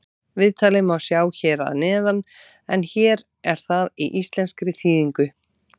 Viðtalið má sjá hér að neðan en hér er það í íslenskri þýðingu.